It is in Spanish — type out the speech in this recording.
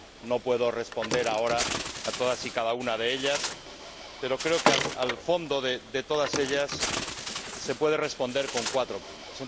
no puedo responder ahora a todas y cada una de ellas, pero creo que al fondo de todas ellas se puede responder con cuatro puntos.